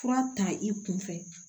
Fura ta i kunfɛ